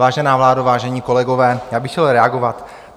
Vážená vládo, vážení kolegové, já bych chtěl reagovat.